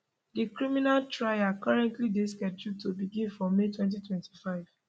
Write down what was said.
di criminal trial currently dey scheduled to begin for may 2025